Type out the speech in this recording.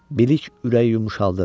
Bilik ürəyi yumşaldır.